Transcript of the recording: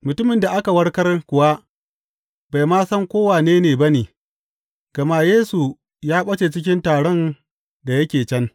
Mutumin da aka warkar kuwa bai ma san ko wane ne ba ne, gama Yesu ya ɓace cikin taron da yake can.